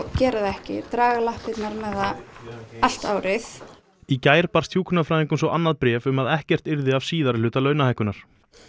gera það ekki draga lappirnar með það allt árið í gær barst hjúkrunarfræðingum svo annað bréf um að ekkert yrði af síðari hluta launahækkunar